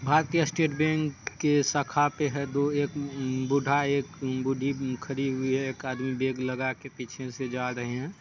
भारतीय state bank के शाखा पे है दो एक हूं बूढ़ा और एक बूढ़ी भी खड़ी हुई है। एक आदमी बैग लगा के पीछे से जा रहे है।